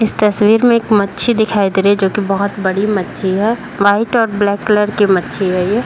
इस तस्वीर में एक मच्छी दिखाई दे रही है जोकि बहोत बड़ी मच्छी है। व्हाइट और ब्लैक कलर की मच्छी है ये।